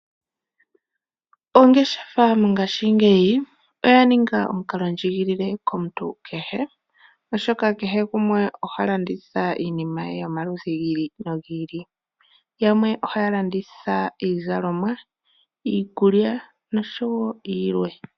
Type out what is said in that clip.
Ongeshefa mongaashingeyi oya ninga omukalo ndjigilile komuntu kehe. Oshoka kehe gumwe oha landitha iinima yomaludhi gi ili no gi ili. Yamwe ohaya landitha iizalomwa, iikulya nosho tuu .